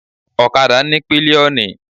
Okada ní pilioni.